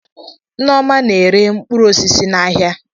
Nneoma na-ere mkpụrụ osisi n'ahịa.